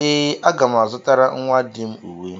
Ee, aga m azutara nnwa di m uwe